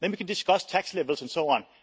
Then we can discuss tax levels and so on.